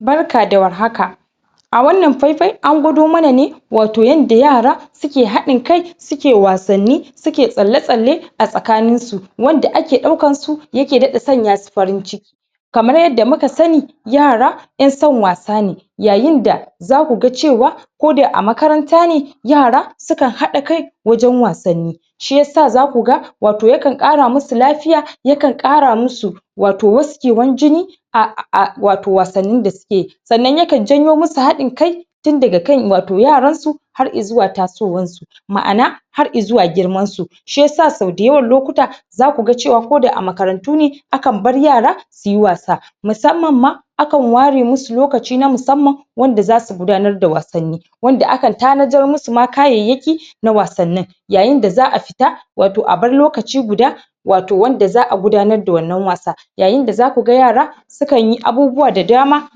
Barka da warhaka a wannan faifai, an gwado mana ne wato yanda yara su ke hadin kai su ke wasanni su ke tsale tsale tsakanin su wanda ake daukan su ya ke dadda sanya su farin ciki kamar yadda muka sani yara 'yan san wasa ne yayin da za ku gan cewa ko da a makaranta ne yara su kan hada kai wajen wasanni shiyasa za ku gan wato ya kan kara musu lafiya ya kan kara musu wato waskewan jini a wato wasannin da suke yi sannan ya kan janyo musu hadin kai tun daga kan wato yaran su har izuwa tasowan su ma'ana har izuwa girman su shiyasa so dayawan lokuta za ku gan cewa, ko da a makarantu ne a kan bar yara su yi wasa masamman ma a kan ware musu lokaci na masamman wanda za su gudanar da wasanni wanda akan tanadar musu da kayayaki na wasannin yayin da za a fita wato a bar lokaci guda wato wanda za a gudanar da wannan wasa yayin da za ku gan yara su kan yi abubuwa da dama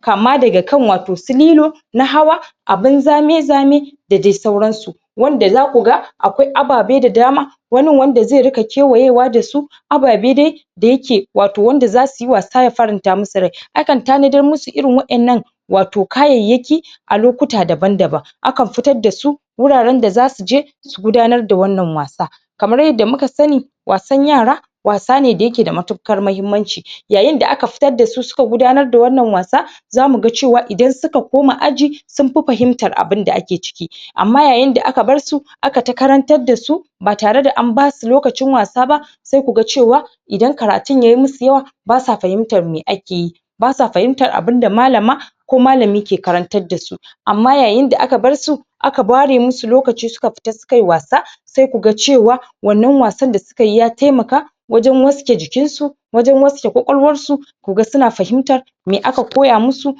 kama ga wato su lilo na hawa abin zame zame da dai sauran su wanda za ku gan akwai ababe da dama wannin wanda zai ruka kewayewa da su ababe dai da ya ke wato, wanda za su yi wasa ya faramta musu rai a kan tanadar musu irin wa'en nan wato kayayaki a lokuta daban daban a kan fitar da su wuraren da za su je su gudanar da wannan wasa kamar yadda muka sani wasan yara wasa ne da ya ke da matukar mahimanci yayin da aka fitar da su, su ka gudanar da wannan wasa za mu gan cewa, idan suka koma aji sun fi fahimtar abin da ake ciki ama yayin da aka bar su aka ta karantar da su ba tare da an basu lokacin wasa ba sai ku gan cewa idan karatun yayi musu yawa ba sa fahimtar mai ake yi ba sa fahimtar abun da malama ko malami ke karantar da su ama yayin da aka bar su aka ware musu lokaci, su ka fita su ka yi wasa sai ku gan cewa wannan wasan da suka yi ya taimaka wajen waske jikin su wajen waske kwakwalwar su ku gan, su na fahimtar mai aka koya musu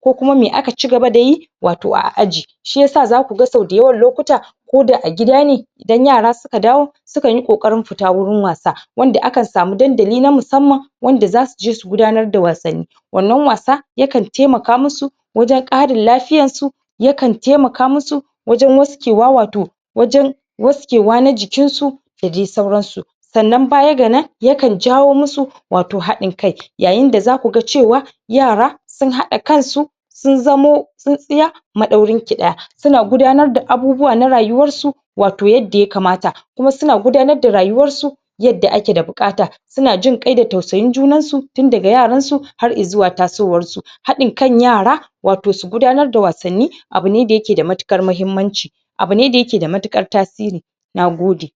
ko kuma mai aka cigaba da yi wato a aji shiyasa za gu gan, so dayawan lokuta ko da a gida ne idan yara su ka dawo su kan yi kokarin fita wurin wasa wanda a kan sami dandali na masamman wanda za su je su gudanar da wasanni wannan wasa ya kan taimaka musu wajen karin lafiyan su ya kan taimaka musu wajen waske wa, wato wajen waskewa na jikin su da dai sauran su sannan baya ga nan ya kan jawo musu wato hadin kai yayin da za ku gan cewa yara sun hada kan su sun zamo tsinsiya madaurin kida suna gudanar da abubuwa na rayuwar su wato yadda ya kamata kuma su na gudanar da rayuwar su yadda ake da bukata su na jin qai da tausayin junan su tun daga yaran su har izuwa tasowan su hadin kan yara wato su gudanar da wasanni abu ne da yake da matukar mahimanci abu ne da ya ke da matukar tasiri na gode